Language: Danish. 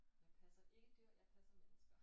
Jeg passer ikke dyr jeg passer mennesker